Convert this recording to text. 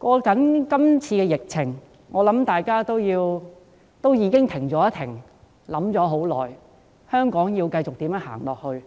面對今次的疫情，我相信大家已經"停了一停"，並思考一段很長時間，香港該如何繼續走下去。